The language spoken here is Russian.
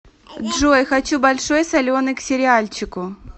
джой хочу большой соленый к сериальчику